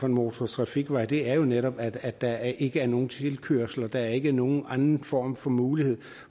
en motortrafikvej det er jo netop at der ikke er nogen tilkørselsveje og ikke er nogen anden form for mulighed